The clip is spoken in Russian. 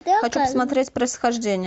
хочу посмотреть происхождение